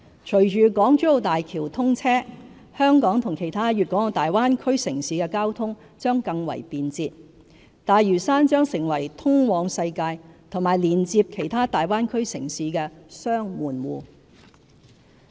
隨着港珠澳大橋通車，香港與其他粵港澳大灣區城市的交通將更為便捷，大嶼山會成為通往世界和連接其他大灣區城市的"雙門戶"。